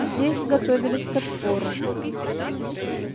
здесь готовились к отпору